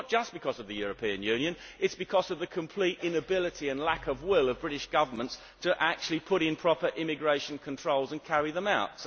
This is not just because of the European Union, it is because of the complete inability and lack of will on the part of British governments to actually put in proper immigration controls and carry them out.